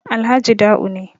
Alhaji Da'u ne